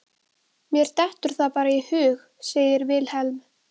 Mér dettur það bara í hug, sagði Vilhelm.